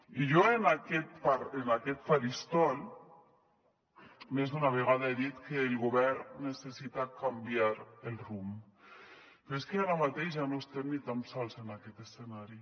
i jo en aquest faristol més d’una vegada he dit que el govern necessita canviar el rumb però és que ara mateix ja no estem ni tan sols en aquest escenari